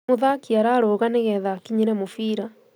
Mũthaki ararũga nĩ getha akinyere mũbira